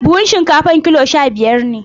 Buhun shinkafar kilo sha-biyar ne.